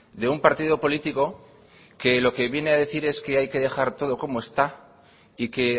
de un partido político que lo que viene a decir es que hay que dejar todo como está y que